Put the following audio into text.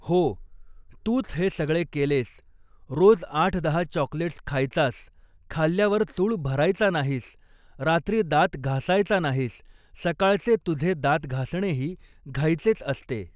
हो तूच हे सगळे केलेस, रोज आठ दहा चॉकलेट्स खायचास, खाल्ल्यावर चूळ भरायचा नाहीस, रात्री दात घासायचा नाहीस, सकाळचे तुझे दात घासणेही घाईचेच असते.